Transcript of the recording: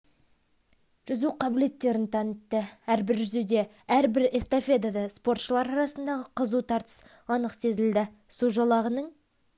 жүзу қабілеттерін танытты әрбір жүзуде әрбір эстафетада спортшылар арасындағы қызу тартыс анық сезілді су жолағының